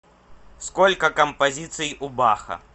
сколько композиций у баха